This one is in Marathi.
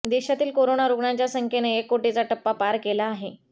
देशातील कोरोना रुग्णांच्या संख्येने एक कोटीचा टप्पा पार केला आहे